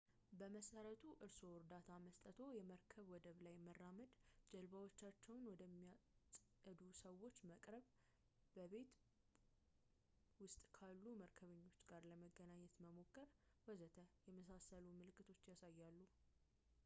በመሰረቱ እርስዎ እርዳታ መስጠትዎን ፣ የመርከብ ወደብ ላይ መራመድ ፣ ጀልባዎቻቸውን ወደሚያጸዱ ሰዎች መቅረብ ፣ በቡና ቤት ውስጥ ካሉ መርከበኞች ጋር ለመገናኘት መሞከር ፣ ወዘተ. የመሳሰልሉ ምልክቶችን ያሳያሉ